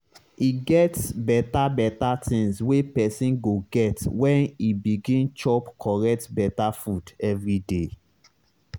e get beta beta tinz wey pesin go get when e begin chop correct beta food everyday